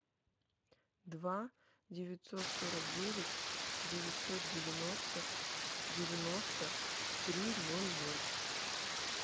два девятьсот сорок девять девятьсот девяносто девяносто три ноль ноль